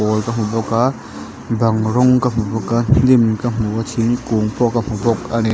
pawl ka hmu bawk a bang rawng ka hmu bawk a hnim ka hmu a thingkung pawh ka hmu bawk a ni.